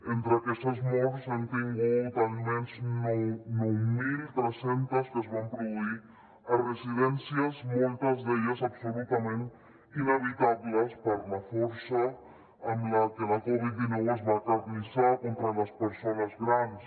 entre aquestes morts n’hem tingut almenys nou mil tres cents que es van produir a residències moltes d’elles absolutament inevitables per la força amb la que la covid dinou es va acarnissar contra les persones grans